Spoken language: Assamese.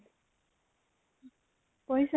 পঢ়িছ নে?